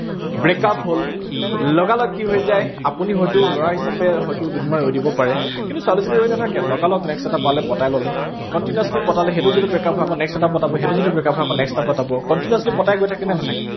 break up হল, লগালগ কি হৈ যায়। আপুনি হয়টো লৰা হিচাপে হয়তো দুদিনমান ৰৈ দিব পাৰে, কিন্তু ছোৱালীজনী ৰৈ নাথাকে, লগালগ next এটা পালে পটাই ললে, continuously পতালে, সেইটো যদি break up হয় আকৌ next এটা পটাব, সেইটোও যদি break up হয় আকৌ next এটা পটাব, continuously পটাই গৈ থাকে নে নাথাকে?